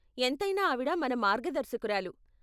ఎంతైనా ఆవిడ మన మార్గదర్శకురాలు.